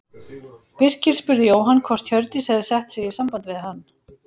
Birkir spurði Jóhann hvort Hjördís hefði sett sig í samband við hann.